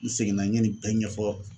N seginna n ye nin bɛɛ ɲɛfɔ